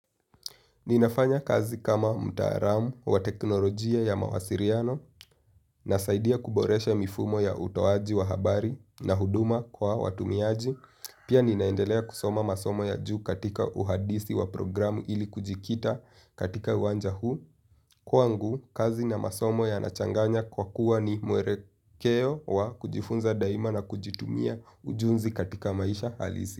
Ninafanya kazi kama mtalamu wa teknolojia ya mawasiliano, na saidia kuboresha mifumo ya utoaji wa habari na huduma kwa watumiaji. Pia ninaendelea kusoma masomo ya juu katika uhadisi wa programu ili kujikita katika uwanja huu. Kwangu kazi na masomo yanachanganya kwa kuwa ni mwelekeo wa kujifunza daima na kujitumia ujuzi katika maisha halisi.